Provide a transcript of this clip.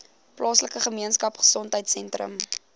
plaaslike gemeenskapgesondheid sentrum